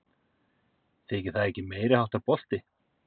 Þykir það ekki meiriháttar bolti?